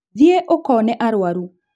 Thiĩ ũkone arwaru